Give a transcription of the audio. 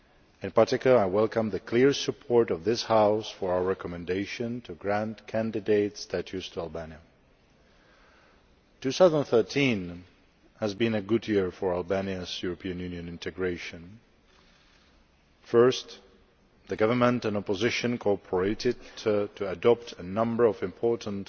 In particular I welcome the clear support of this House for our recommendation to grant candidate status to Albania. 2013 has been a good year for Albania's European Union integration. Firstly, the government and opposition cooperated to adopt a number of important